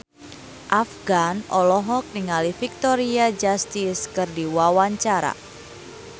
Afgan olohok ningali Victoria Justice keur diwawancara